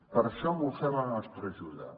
per això hem ofert la nostra ajuda